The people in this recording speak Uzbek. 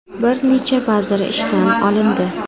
Bir necha vazir ishdan olindi.